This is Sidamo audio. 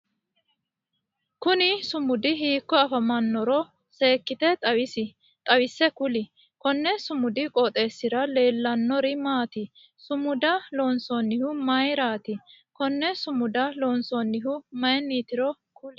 Kunni sumudi hiiko afamanoro seekite xawisi kuli? Konni sumudi qooxeesira leelanori maati? Sumuda loonsannihu mayiraati? Konne sumuda loonsoonnihu mayinnitiro kuli?